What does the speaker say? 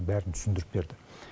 бәрін түсіндіріп берді